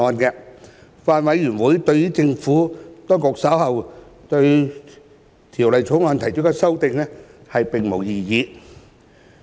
法案委員會對政府當局稍後對《條例草案》提出的修正案並無異議。